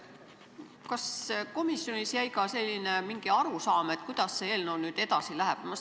Kas komisjonis oli ka mingi selline arusaam, kuidas see eelnõu nüüd edasi läheb?